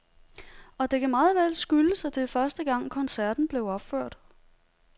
Og det kan meget vel skyldes, at det var første gang koncerten blev opført.